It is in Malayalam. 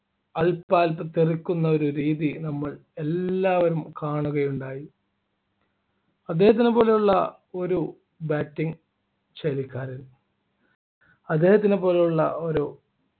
തെറിക്കുന്ന ഒരു രീതി നമ്മളെല്ലാവരും കാണുകയുണ്ടായി അദ്ദേഹത്തിനെ പോലുള്ള ഒരു bating ശൈലിക്കാരൻ അദ്ദേഹത്തിന് പോലുള്ള ഒരു